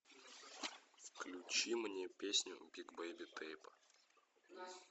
включи мне песню биг бейби тейпа